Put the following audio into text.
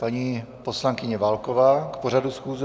Paní poslankyně Válková k pořadu schůze.